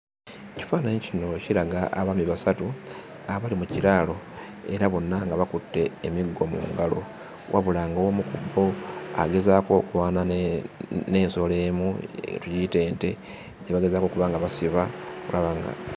Ekifaananyi kino kiraga abaami basatu abali mu kiraalo era bonna nga bakutte emiggo mu ngalo wabula ng'omu ku bo agezaako okulwana n'ensolo emu, tugiyite ente gye bagezaako okuba nga basiba okulaba nga...